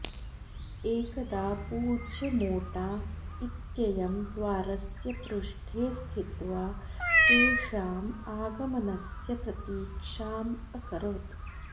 एकदा पूज्य मोटा इत्ययं द्वारस्य पृष्ठे स्थित्वा तेषाम् आगमनस्य प्रतीक्षाम् अकरोत्